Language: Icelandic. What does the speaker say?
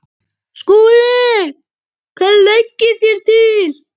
SKÚLI: Hvað leggið þér til?